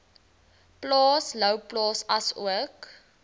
plaas louwplaas asook